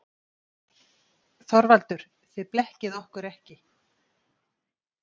ÞORVALDUR: Þið blekkið okkur ekki.